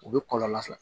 U bɛ kɔlɔlɔ sɔrɔ